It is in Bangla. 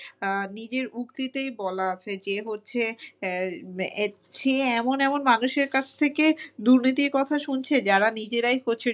নিজের উক্তিতেই বলা আছে যে হচ্ছে সে এমন এমন মানুষের কাছ থেকে দুর্নীতির কথা শুনছে যারা নিজেরাই হচ্ছে